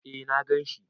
Eh na gan shi.